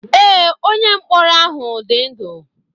Ee, onye mkpọrọ ahụ dị ndụ.